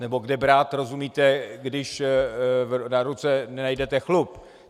Nebo kde brát, rozumíte, když na ruce nenajdete chlup.